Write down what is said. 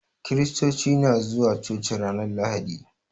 Kristoci na zuwa coci ranar lahadi